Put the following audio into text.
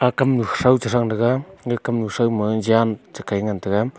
aga kam nu thow chang taga ga kamnu shao ma jam che kai ngan taiga.